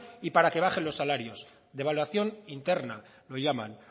y para que bajen los salarios devaluación interna lo llaman